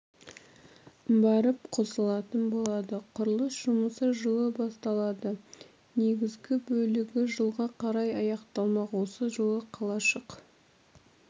барып қосылатын болады құрылыс жұмысы жылы басталады негізгі бөлігі жылға қарай аяқталмақ осы жылы қалашық